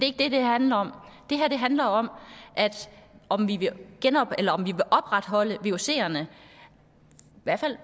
ikke det det handler om det her handler om om vi vil opretholde vucerne i hvert fald